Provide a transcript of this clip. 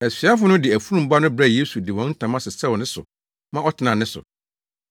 Asuafo no de afurum ba no brɛɛ Yesu de wɔn ntama sesɛw ne so ma ɔtenaa ne so.